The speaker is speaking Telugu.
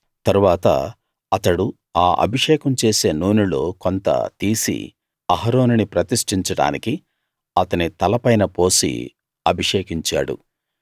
తరువాత అతడు ఆ అభిషేకం చేసే నూనెలో కొంత తీసి అహరోనుని ప్రతిష్టించడానికి అతని తల పైన పోసి అభిషేకించాడు